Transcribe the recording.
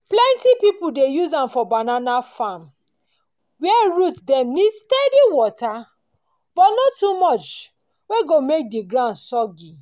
plenty pipu dey use am for banana farm where root dem need steady water but no too much wey go make ground dey soggy.